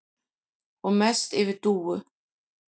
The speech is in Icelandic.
Og mest yfir Dúu.